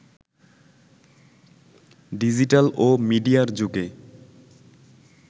digital ও মিডিয়ার যুগে